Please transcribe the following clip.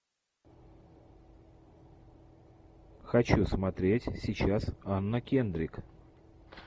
хочу смотреть сейчас анна кендрик